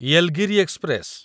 Yelagiri express